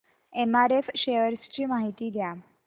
MRF shares ची माहिती द्या